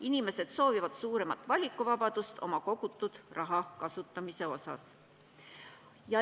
Inimesed soovivad suuremat vabadust otsustada, mida oma kogutud rahaga teha.